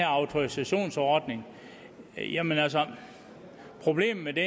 autorisationsordningen jamen altså problemet